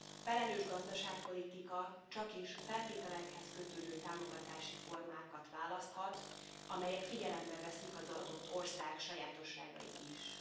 Felelős gazdaságpolitika csakis feltételekhez kötődő támogatási formákat választhat, amelyek figyelembe veszik az adott ország sajátosságait is.